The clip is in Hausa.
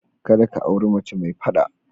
Kada ka auri mace mai fada.